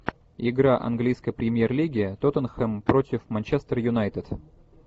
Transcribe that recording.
игра английской премьер лиги тоттенхэм против манчестер юнайтед